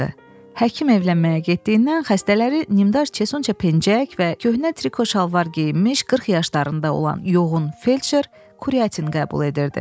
Həkim evlənməyə getdiyindən xəstələri nimdar çesuça pencək və köhnə triko şalvar geyinmiş, 40 yaşlarında olan yoğun felçer Kuratin qəbul edirdi.